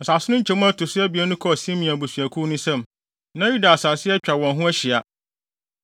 Asase no nkyemu a ɛto so abien no kɔɔ Simeon abusuakuw no nsam. Na Yuda asase atwa wɔn ho ahyia.